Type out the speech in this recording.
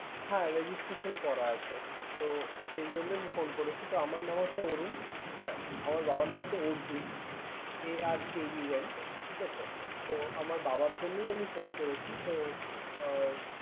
হ্যা registration করা আছে। তো সেই জন্যে আমি phone করেছি। তো আমার নাম হচ্ছে অরুন। হ্যাঁ আমার বাবার নাম হচ্ছে Arjun A R J U N ঠিক আছে? তো আমার বাবার জন্যই আমি phone করেছি। তো উম